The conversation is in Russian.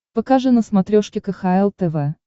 покажи на смотрешке кхл тв